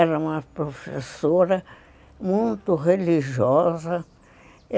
Era uma professora muito religiosa.